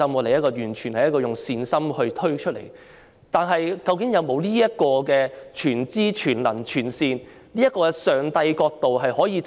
可是，究竟在制訂政策上，是否確有這種全知、全能、全善的上帝角度呢？